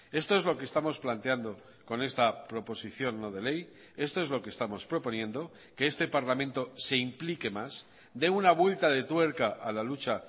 esto es lo que estamos planteando con esta proposición no de ley esto es lo que estamos proponiendo que este parlamento se implique más dé una vuelta de tuerca a la lucha